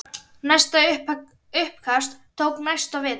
Næsta uppkast tók næsta vetur.